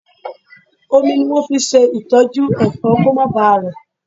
Omi ni wọn fi máa ń ṣe ìtọ́jú Ẹ̀fọ́ kó má ba rẹ̀.